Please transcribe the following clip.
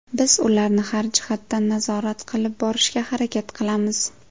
Biz ularni har jihatdan nazorat qilib borishga harakat qilamiz.